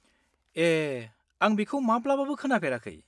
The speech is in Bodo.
ए, आं बेखौ माब्लाबाबो खोनाफेराखै।